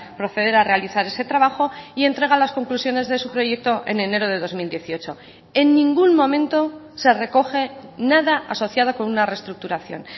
proceder a realizar ese trabajo y entrega las conclusiones de su proyecto en enero de dos mil dieciocho en ningún momento se recoge nada asociada con una reestructuración